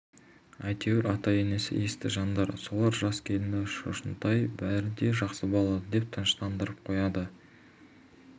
аяғы ауыр болғандықтан зорға жүрген келіндерін аяған ата-енесі рұқсат бермепті шамасы шілде айында шарана жарыққа